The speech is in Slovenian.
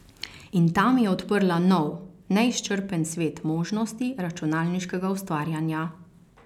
In ta mi je odprla nov, neizčrpen svet možnosti računalniškega ustvarjanja.